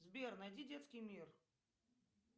сбер найди детский мир